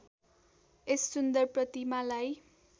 यस सुन्दर प्रतिमालाई